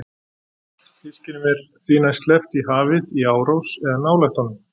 Fiskinum er því næst sleppt í hafið í árós eða nálægt honum.